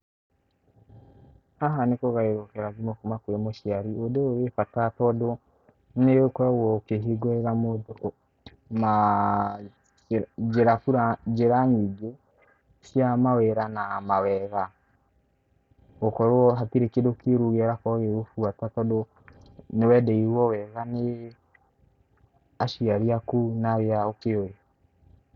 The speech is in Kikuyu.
Haha nĩ kũgaĩrwo kĩrathimo kuma kũrĩ mũciari, ũndũ ũyũ wĩ bata tondũ, nĩũkoragwo ũkĩhingũrĩra mũndũ na njĩra bura, na njĩra nyingĩ cia mawĩra na mawega, gũkorwo hatirĩ kĩndũ kĩũru kĩa kĩrakorwo gĩgĩgũbuata tondũ nĩwendeirwo wega nĩ aciari aku na arĩa ũkĩuĩ.